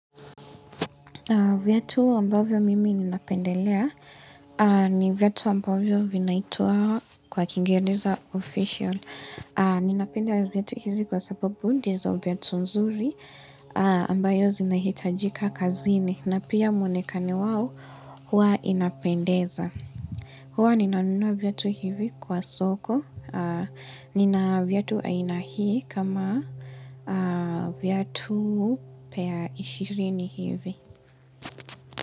Viatu ambavyo mimi ninapendelea ni viatu ambavyo vinaituwa kwa kiingereza official. Ninapenda viatu hizi kwa sababu ndizo viatu nzuri ambayo zinahitajika kazini na pia muonekano wao huwa inapendeza. Huwa ninanunua viatu hivi kwa soko. Nina viatu aina hii kama viatu pair ishirini hivi.